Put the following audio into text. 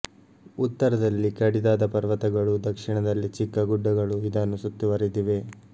ಉತ್ತರದಲ್ಲಿ ಕಡಿದಾದ ಪರ್ವತಗಳೂ ದಕ್ಷಿಣದಲ್ಲಿ ಚಿಕ್ಕ ಗುಡ್ಡಗಳೂ ಇದನ್ನು ಸುತ್ತುವರಿದಿವೆ